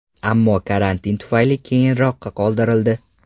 Ammo karantin tufayli keyinroqqa qoldirildi.